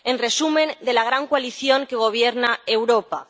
En resumen, de la gran coalición que gobierna Europa.